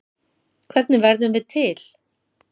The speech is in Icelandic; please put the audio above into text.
Hvernig verðum við til?